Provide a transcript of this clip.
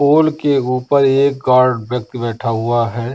पोल के ऊपर एक गार्ड व्यक्ति बैठा हुआ है।